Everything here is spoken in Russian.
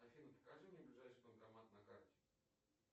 афина покажи мне ближайший банкомат на карте